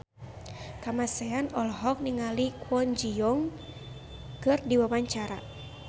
Kamasean olohok ningali Kwon Ji Yong keur diwawancara